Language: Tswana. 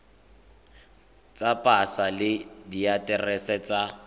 tsa pasa le diaterese tsa